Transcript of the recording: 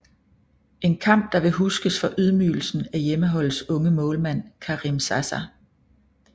En kamp der vil huskes for ydmygelsen af hjemmeholdets unge målmand Karim Zaza